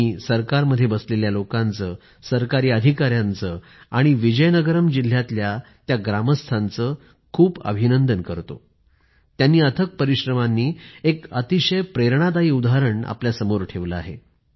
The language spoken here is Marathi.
मी सरकारमध्ये बसलेल्या लोकांचं सरकारी अधिकाऱ्यांचं आणि विजयनगरम जिल्ह्यातल्या त्या गावच्या नागरिकांचं खूपखूप अभिनंदन करतो त्यांनी अथक परिश्रमांनी एक अतिशय प्रेरणादायी उदाहरण समोर ठेवलं आहे